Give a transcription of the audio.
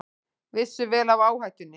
Vissu vel af áhættunni